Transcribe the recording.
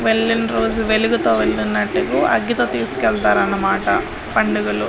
వెళ్ళిన రోజు వెలుగుతో వెళ్తున్నట్టు అగ్గితో తీసుకెళ్తారు అనమాట పండుగలు.